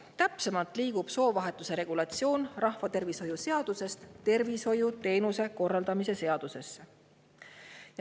Täpsemalt, soovahetuse regulatsioon liigub rahvatervishoiu seadusest tervishoiuteenuste korraldamise seadusesse.